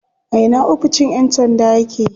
A ina oficin yan sandan yake?